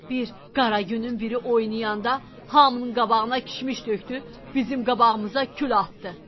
Bir qara günün biri oynayanda hamının qabağına kişmiş tökdü, bizim qabağımıza kül atdı.